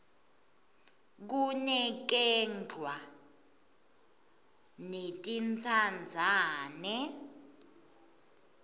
kinakerglwa netintsandzane